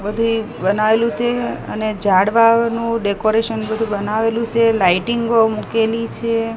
બધી બનાવેલુ સે અને ઝાડવાનું ડેકોરેશન બધુ બનાવેલુ સે લાઈટિંગો મૂકેલી છે.